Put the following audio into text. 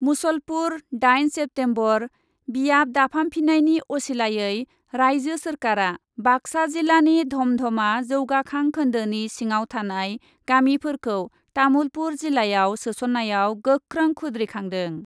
मुसलपुर, दाइन सेप्तेम्बर, बियाब दाफामफिन्नायनि असिलायै राइजो सोरखारा बाक्सा जिल्लानि धमधमा जौगाखां खोन्दोनि सिङाव थानाय गामिफोरखौ तामुलपुर जिल्लायाव सोसन्नायाव गोख्रों खुद्रिखांदों।